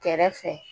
Kɛrɛfɛ